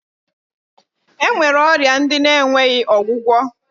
E nwere ọrịa ndị na-enweghi ọgwụgwọ